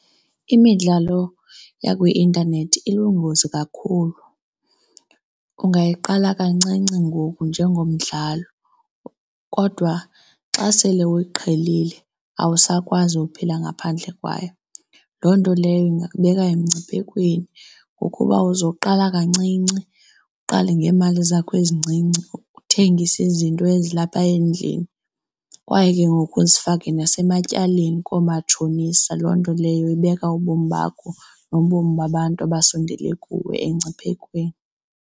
Imidlalo yakwi-intanethi ilungozi kakhulu. Ungayiqala kancinci ngoku njengomdlalo kodwa xa sele uyiqhelile, awusakwazi ukuphila ngaphandle kwayo. Loo nto leyo ingakubeka emngciphekweni ngokuba uzoqala kancinci, uqale ngeemali zakho ezincinci uthengise izinto ezilapha endlini kwaye ke ngoku uzifake nasematyaleni koomatshonisa. Loo nto leyo ibeka ubomi bakho nobomi babantu abasondele kuwe engciphekweni.